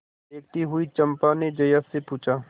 देखती हुई चंपा ने जया से पूछा